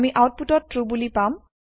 আমি আওতপুতত ট্ৰু বুলি পাম